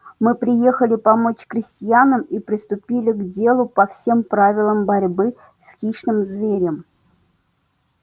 мы приехали помочь крестьянам и приступили к делу по всем правилам борьбы с хищным зверем